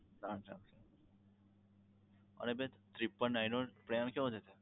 charge લાગશે અને બેન triple nine નો plan કેવો રેહશે?